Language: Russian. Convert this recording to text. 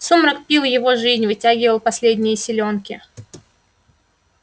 сумрак пил его жизнь вытягивал последние силёнки